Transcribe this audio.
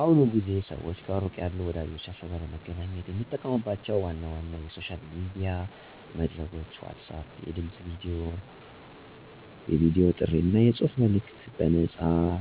በአሁኑ ጊዜ ሰዋች ከሩቅ ያሉ ወዳጀቻችዉ ጋር ለመገናኘት የሚጠቀሙባቸው ዋና ዋና የሶሻል ሚዲያ መድረኮች ለመልእክት መላላክ (messaging Apps) WhatsApp የድምፅ፣ የቨዲ ጥሪ አና የጽሑፍ መልእከቶችን በነፃያሰ